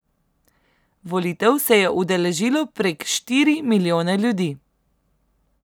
Volitev se je udeležilo prek štiri milijone ljudi.